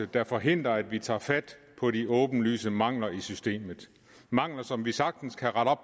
der forhindrer at vi tager fat på de åbenlyse mangler i systemet mangler som vi sagtens kan rette op